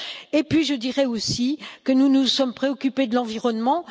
Et puis je dirai aussi que nous nous sommes préoccupés de l'environnement.